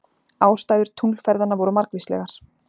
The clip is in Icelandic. Ástæður tunglferðanna voru margvíslegar.